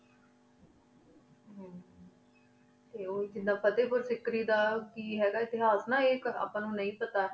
ਓਜੇਦਾਂ ਫਟੀ ਪੁਰ ਅਸੀਂ ਕਰੇਇ ਦਾ ਕੀ ਹਯ੍ਗਾ ਹੇਤਾਸ ਆਪਨੂ ਨੀ ਪਤਾ ਨਾ